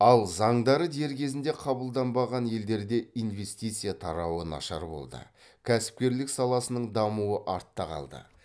ал заңдары дер кезінде қабылданбаған елдерде инвестиция тарауы нашар болды кәсіпкерлік саласының дамуы артта қалды